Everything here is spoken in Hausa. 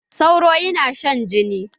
Sauro ya na shan jini.